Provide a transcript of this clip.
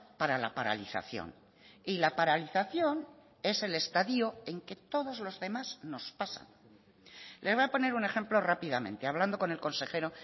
para la paralización y la paralización es el estadio en que todos los demás nos pasan le voy a poner un ejemplo rápidamente hablando con el consejero